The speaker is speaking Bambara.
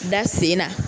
Da sen na